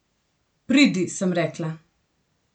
Pridi, sem rekla.